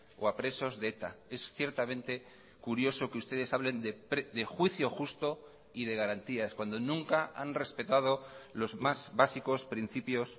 o a presos de eta es ciertamente curioso que ustedes hablen de juicio justo y de garantías cuando nunca han respetado los más básicos principios